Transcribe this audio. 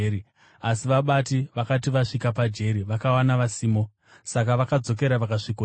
Asi vabati vakati vasvika pajeri, vakawana vasimo. Saka vakadzokera vakasvikoti,